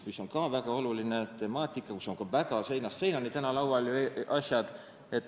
See on väga oluline temaatika, mille puhul laual on seinast seinani lahendused.